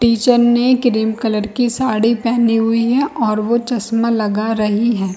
Teacher ने cream colour की साड़ी पहनी हुई है और वो चश्मा लगा रही हैं ।